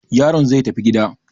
Yaron zai tafi gida.